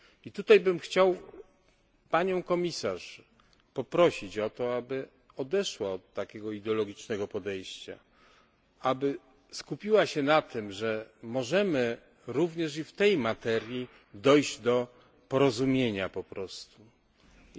I tutaj bym chciał Panią Komisarz poprosić, aby odeszła od takiego ideologicznego podejścia, aby skupiła się na tym, że możemy również i w tej materii dojść do porozumienia po prostu. Zachęcam do tego podejścia...